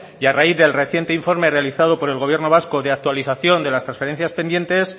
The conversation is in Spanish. y a raíz del reciente informe realizado por el gobierno vasco de actualización de las transferencias pendientes